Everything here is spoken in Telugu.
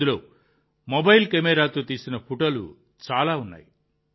అందులో మొబైల్ కెమెరాతో తీసిన ఫోటోలు చాలా ఉన్నాయి